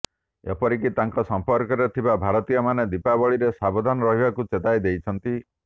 ଏପରିକି ତାଙ୍କ ସମ୍ପର୍କରେ ଥିବା ଭାରତୀୟମାନେ ଦୀପାବଳିରେ ସାବଧାନ ରହିବାକୁ ଚେତାଇ ଦେଇଛନ୍ତି